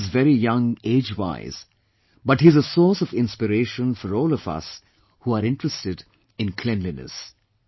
Bilal is very young age wise but is a source of inspiration for all of us who are interested in cleanliness